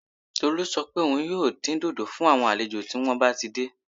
Tolú sọ pé òun yóò dín dòdò fún àwọn àlejò tí wọ́n bá ti dé